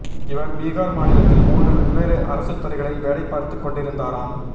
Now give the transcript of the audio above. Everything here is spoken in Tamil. இவர் பீகார் மாநிலத்தில் மூன்று வெவ்வேறு அரசுத்துறைகளில் வேலை பார்த்துக் கொண்டிருந்தாராம்